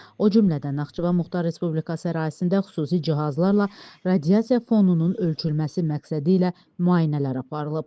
o cümlədən Naxçıvan Muxtar Respublikası ərazisində xüsusi cihazlarla radiasiya fonunun ölçülməsi məqsədilə müayinələr aparılıb.